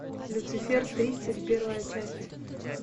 люцифер тридцать первая часть